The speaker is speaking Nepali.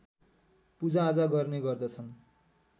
पूजाआजा गर्ने गर्दछन्